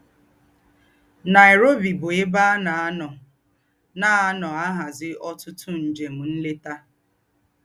Nairobi bú èbè à nà-ànọ́ nà-ànọ́ àhází ọ̀tútù ńjém ńlétà